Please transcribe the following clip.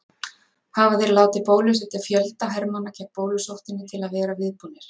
Hafa þeir látið bólusetja fjölda hermanna gegn bólusóttinni til að vera viðbúnir.